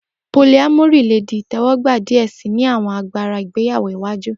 Polyamory le di itẹwọgba diẹ sii ni awọn agbara ìgbéyáwó iwaju.